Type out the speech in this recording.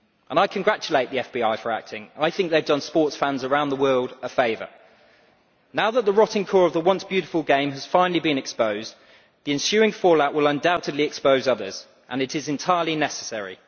I congratulate the FBI for acting. I think they have done sports fans around the world a favour. Now that the rotting core of the once beautiful game has finally been exposed, the ensuing fallout will undoubtedly expose others, and it is entirely necessary.